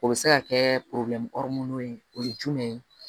O bɛ se ka kɛ ye o ye jumɛn ye